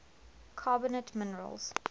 carbonate minerals